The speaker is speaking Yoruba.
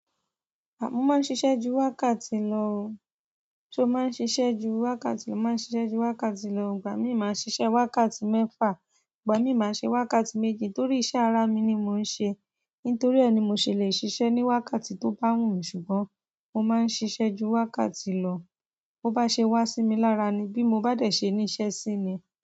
À mó máa ń ṣiṣẹ́ ju wákàtí lọ, ṣó máa ń ṣiṣẹ́ ju wákàtí lọ? Máa ń ṣiṣẹ́ ju wákàtí lọ. Ìgbà mì máa ń ṣiṣẹ́ wákàtí mẹ́fà, ìgbà mi máa ń ṣe wákàtí méjì torí iṣẹ́ ara mi ni mò ń ṣe. Nítorí e ni mo ṣèlè ṣiṣẹ́ ní wákàtí tó bá wù mí ṣùgbọ́n mo máa ń ṣiṣẹ́ ju wákàtí lọ. Bo bá ṣe wá sí mi lára ni, bí mo bá dẹ̀ ṣe ní iṣẹ́ sí ni.